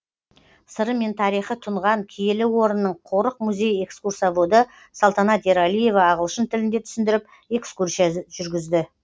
сыры мен тарихы тұнған киелі орынның қорық музей экскурсоводы салтанат ералиева ағылшын тілінде түсіндіріп экскурсия жүргізді